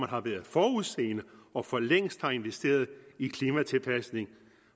har været forudseende og for længst investeret i klimatilpasning